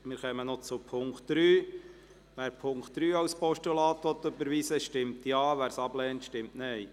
Wer die Ziffer 3 als Postulat annehmen will, stimmt Ja, wer dies ablehnt, stimmt Nein.